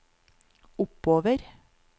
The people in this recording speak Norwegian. oppover